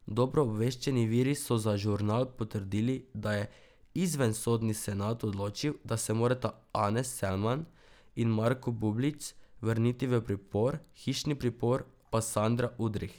Dobro obveščeni viri so za Žurnal potrdili, da je izvensodni senat odločil, da se morata Anes Selman in Marko Bublić vrniti v pripor, v hišni pripor pa Sandra Udrih.